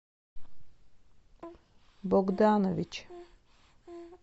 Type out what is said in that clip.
богданович